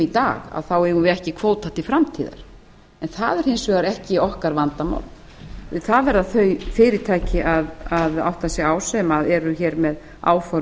dag þá eigum við ekki kvóta til framtíðar en það er hins vegar ekki okkar vandamál það verða þau fyrirtæki að átta sig á sem eru með áform